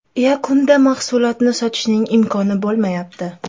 Yakunda mahsulotni sotishning imkoni bo‘lmayapti.